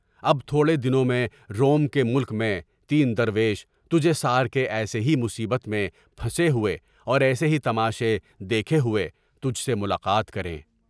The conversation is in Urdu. اب تھوڑے دنوں میں روم کے ملک میں تین درویش تجھے سار کے ایسی ہی مصیبت میں پھنسے ہوئے اور ایسے ہی تماشے دیکھے ہوئے تجھ سے ملاقات کریں۔